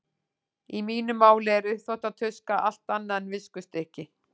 Í mínu máli er uppþvottatuska allt annað en viskustykki.